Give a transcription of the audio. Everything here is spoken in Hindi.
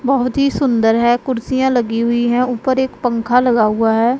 बहोत ही सुंदर है कुर्सियां लगी हुईं हैं ऊपर एक पंख लगा हुआ हैं।